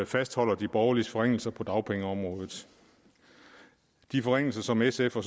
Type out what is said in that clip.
fastholder de borgerliges forringelser på dagpengeområdet de forringelser som sf og